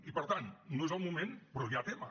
i per tant no és el moment però hi ha tema